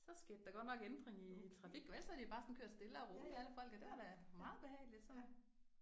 Så skete der godt nok ændring i trafik ellers havde de bare jo sådan kørt stille og roligt alle folkene det var da meget behageligt så